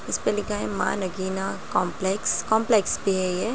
इसपे लिखा है मां नगीना काम्प्लेक्स काम्प्लेक्स पे है ये।